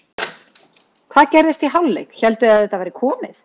Hvað gerðist í hálfleik, hélduð þið að þetta væri komið?